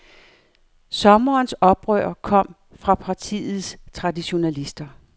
Sommerens oprør kom fra de partiets traditionalister.